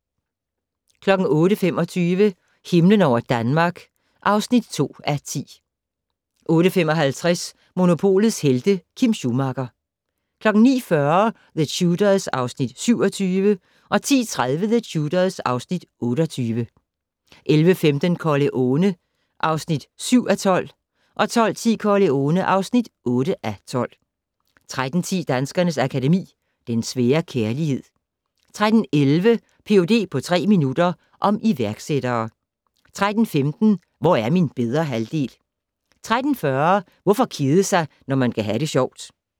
08:25: Himlen over Danmark (2:10) 08:55: Monopolets Helte - Kim Schumacher 09:40: The Tudors (Afs. 27) 10:30: The Tudors (Afs. 28) 11:15: Corleone (7:12) 12:10: Corleone (8:12) 13:10: Danskernes Akademi: Den svære kærlighed 13:11: Ph.d. på tre minutter - om iværksættere 13:15: Hvor er min bedre halvdel? 13:40: Hvorfor kede sig når man kan ha' det sjovt?